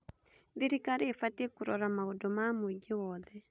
Thirikari ĩbatiĩ kũrora maũndũ ma mũingĩ wothe.